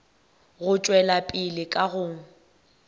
go tšwela pele ka go